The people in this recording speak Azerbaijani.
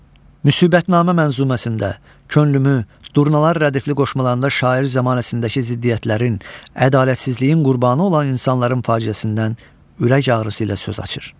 Müsibətnamə məzmunəsində könlümü, durnalar rədifli qoşmalarında şair zəmanəsindəki ziddiyyətlərin, ədalətsizliyin qurbanı olan insanların faciəsindən ürək ağrısı ilə söz açır.